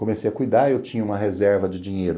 Comecei a cuidar e eu tinha uma reserva de dinheiro.